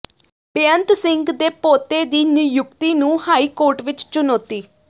ਬੇਅੰਤ ਸਿੰਘ ਦੇ ਪੋਤੇ ਦੀ ਨਿਯੁਕਤੀ ਨੂੰ ਹਾਈ ਕੋਰਟ ਵਿੱਚ ਚੁਣੌਤੀ